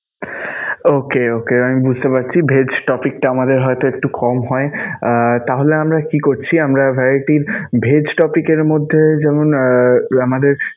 Okay okay আমি বুঝতে পারছি vegg topic টা আমাদের হয়তো একটু কম হয়. আহ তাহলে আমরা কি করছি? আমরা variety vegg topic এর মধ্যে যেমনঃ আমাদের